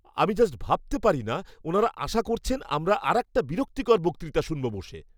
আমি জাস্ট ভাবতে পারিনা ওনারা আশা করছেন আমরা আরেকটা বিরক্তিকর বক্তৃতা শুনব বসে!